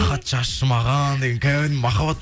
хат жазшы маған деген кәдімгі махаббат